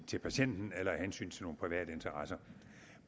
til patienten eller af hensyn til nogle private interesser